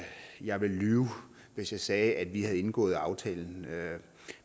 jeg ville lyve hvis jeg sagde at vi havde indgået aftalen